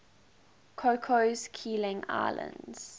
cocos keeling islands